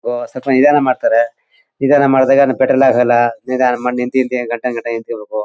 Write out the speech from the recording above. ಓ ಸ್ವಲ್ಪ ನಿಧಾನ ಮಾಡ್ತಾರೆ ನಿಧಾನ ಮಾಡಿದಾಗ ಪೆಟ್ರೋಲ್ ಹಾಕಲ್ಲ ನಿಧಾನ ಮಾಡಿ ನಿಂತ ನಿಂತೇ ಗಂಟೆಗಟ್ಟಲೆ ನಿಂತಿರಬೇಕು.